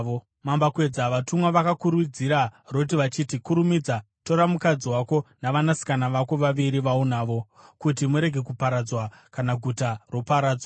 Mambakwedza, vatumwa vakakurudzira Roti vachiti, “Kurumidza! Tora mukadzi wako navanasikana vako vaviri vaunavo, kuti murege kuparadzwa kana guta roparadzwa.”